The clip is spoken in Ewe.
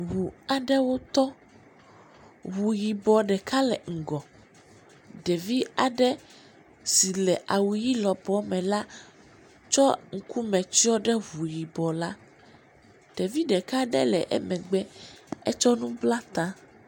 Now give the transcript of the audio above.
Ŋu aɖewo tɔ, ŋu yibɔ ɖeka le ŋgɔ, ɖevi aɖe si le awu ʋi lɔbɔɔ me la tsɔ ŋkume tsyɔ̃ ɖe ŋu yibɔ la, ɖevi ɖeka aɖe le emegbe etsɔ nu bla ta.